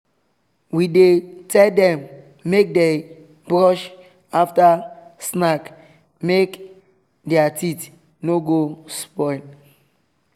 we dey tell them make dey brush after snack make their teeth no go spoil